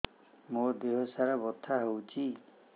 ମୋ ଦିହସାରା ବଥା ହଉଚି